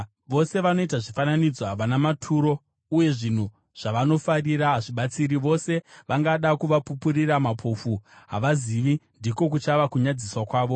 Vose vanoita zvifananidzo havana maturo, uye zvinhu zvavanofarira hazvibatsiri. Vose vangada kuvapupurira mapofu; havazivi, ndiko kuchava kunyadziswa kwavo.